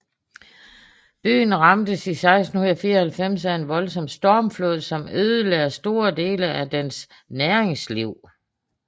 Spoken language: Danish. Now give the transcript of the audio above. Byen ramtes i 1694 af en voldsom stormflod som ødelagde store dele af dens næringsliv